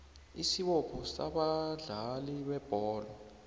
isibopho sabadlali bebholo